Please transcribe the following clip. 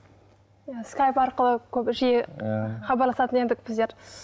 иә скайп арқылы көп жиі иә хабарласатын едік біздер